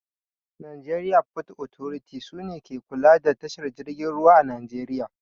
Najeriya fot otoriti sune ke kula da tashar jirgin ruwa a najeriya